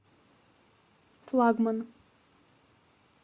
флагман